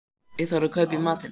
Þá þarf að kaupa í matinn